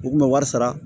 U kun bɛ wari sara